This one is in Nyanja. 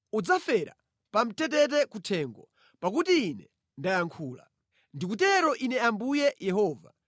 Udzafera pa mtetete kuthengo, pakuti Ine ndayankhula. Ndikutero Ine Ambuye Yehova.